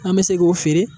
An bɛ se k'o feere